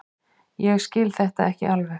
Ég skil þetta ekki alveg.